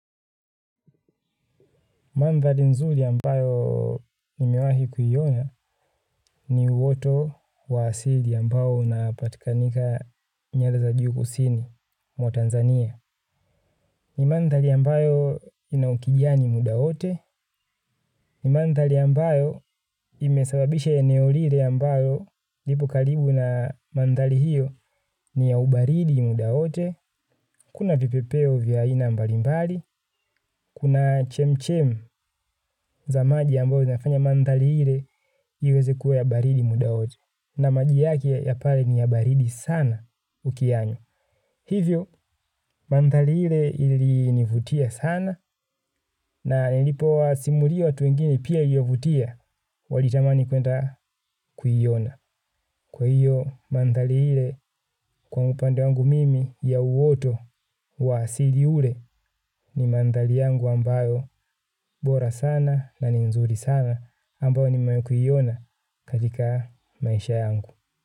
Mantali nzuli yambayo nimewahi kuyiona ni uoto wa asili yambayo unapatikanika nyanda za juu kusini mwa Tanzania. Ni mantali yambayo inaukijiani muda wote. Ni mantali yambayo imesababisha ya eneo lire yambayo lipo kalibu na mantali hiyo ni ya ubaridi muda wote. Kuna vipepeo vya aina mbali mbali, kuna chemchem za maji ambayo inafanya mantali hile iweze kuwa ya baridi muda wote. Na maji yaki ya pale ni ya baridi sana ukianywa. Hivyo, mantali hile ili nivutia sana na nilipo wa simulio watu wengine pia yovutia walitamani kuenda kuyiona. Kwa hiyo mandhali ile kwa upande wangu mimi ya uwoto wa asili ule ni mandhali yangu ambayo bora sana na nzuri sana ambayo ni mayi kuyiona katika maisha yangu.